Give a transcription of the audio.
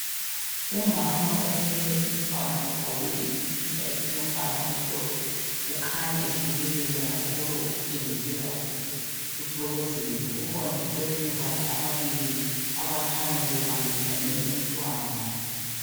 Umama othwele umntwana ogqoke isikipa esilombala omhlophe ukhanya ehlekelela kakhulu okutshengisela ukuthi uthokozile. Kukhona eceleni kwakhe ababili abakhanya bebambisane umntwana.